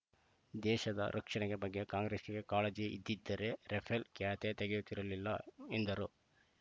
ದೇಶದ ರಕ್ಷಣೆ ಬಗ್ಗೆ ಕಾಂಗ್ರೆಸ್‌ಗೆ ಕಾಳಜಿ ಇದ್ದಿದ್ದರೆ ರಫೇಲ್‌ ಕ್ಯಾತೆ ತೆಗೆಯುತ್ತಿರಲಿಲ್ಲ ವೆಂದರು